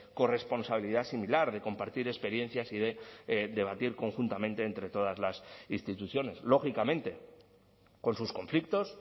corresponsabilidad similar de compartir experiencias y de debatir conjuntamente entre todas las instituciones lógicamente con sus conflictos